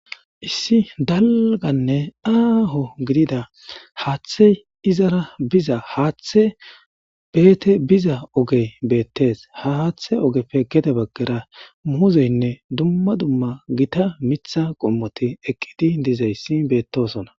Issi dalgane aaho gidiza haathe izara bida haathe eeti biza oge beetes ha haathe ogepe gede bagara muuzene duma duma githa mitha qomoti eqidi dizaysi beetosona.